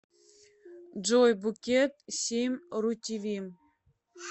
джой букет семь ру ти ви